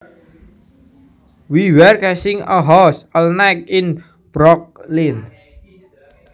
We were casing a house all night in Brooklyn